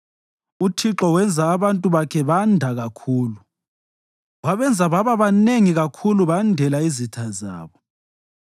UThixo wenza abantu bakhe banda kakhulu; wabenza baba banengi kakhulu bandela izitha zabo,